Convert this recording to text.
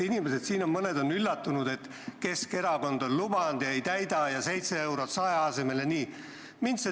Siin on mõned inimesed üllatunud, et Keskerakond on lubanud ja ei täida ja 7 eurot 100 asemel jne.